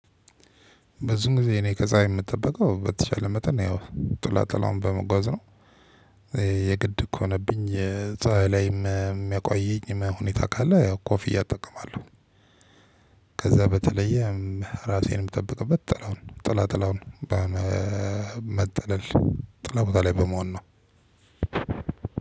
በዚህን ጊዜ እኔ ከፀሀይ የምጠበቀው በተቻለ መጠን ነው ያው ጥላ ጥላውን በመጓዝ ነው። የግድ ከሆነብኝ የፀሀይ ላይም የሚያቆየኝ ሁኔታ ካለ ያው ኮፍያ እጠቀማለሁ። በተለየ ራሴንም የምጠብቀበት ጥላውን ጥላ ጥላውን። ጥላ ቦታ ላይ በመሆን ነው።